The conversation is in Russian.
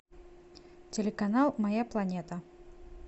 телеканал моя планета